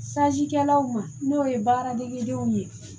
kɛlaw ma n'o ye baara degedenw ye